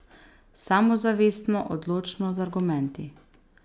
Samozavestno, odločno, z argumenti.